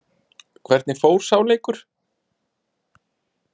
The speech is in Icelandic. Hvernig fór sá leikur?